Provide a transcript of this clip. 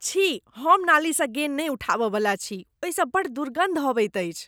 छी, हम नाली सँ गेन् नहि उठाबय वला छी। ओहिसँ बड्ड दुर्गन्ध अबैत अछि।